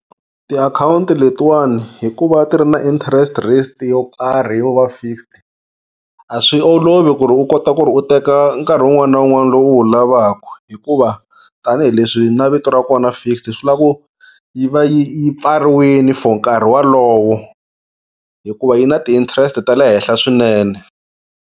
Tiakhawunti letiwana hikuva ti ri na interest rate yo karhi yo va fixed a swi olovi ku ri u kota ku ri u teka nkarhi wun'wana na wun'wana lowu u wu lavaka hikuva tanihileswi na vito ra kona fixed swi lava ku yi va yi yi pfariwile for nkarhi walowo hikuva yi na ti-interest ta le henhla swinene.